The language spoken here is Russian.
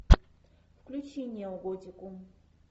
включи неоготику